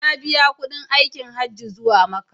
Na biya kuɗin aikin Hajji zuwa Makka.